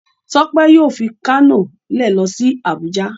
Tope yóò fí Kano lẹ ló sí Abuja.